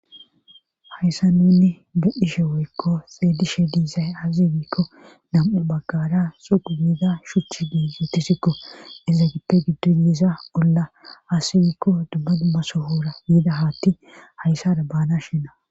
hayssa nunni be'ishe woykko xelishe diizay aze gikko nam7u baggara suqumida shuchchi diizi tisikko iza gippe giddo yeesa olla asibikko dubba dumma sohoora yiida haatti hayssara baana shinna